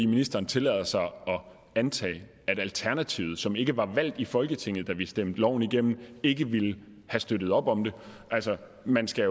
ministeren tillader sig at antage at alternativet som ikke var valgt i folketinget da vi stemte loven igennem ikke ville have støttet op om den altså man skal